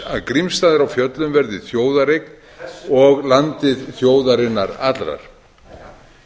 að grímsstaðir á fjöllum verði þjóðareign og landið þjóðarinnar allrar